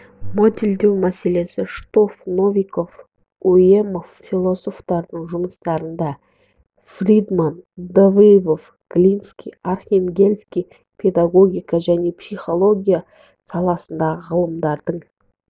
моделдеу мәселесі штоф новиков уемов философтардың жұмыстарында фридман давыдов глинский архангельский педагогика және психология саласындағы ғалымдардың